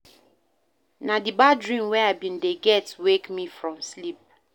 Na di bad dream wey I bin dey get wake me from sleep.